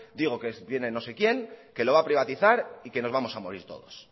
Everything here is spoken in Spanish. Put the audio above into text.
digo que viene no sé quién que lo va a privatizar y que nos vamos a morir todos